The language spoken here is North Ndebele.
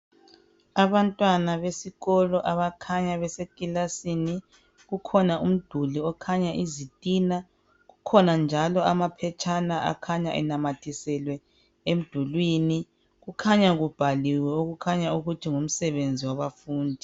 Abantwana besikolo abakhanya besekilasini, kukhona umduli okhanya izitina. Kukhona njalo amaphetshana akhanya enanyathiselwe emdulini. Kukhanya kubhaliwe, okukhanya ukuthi ngumsebenzi wabafundi.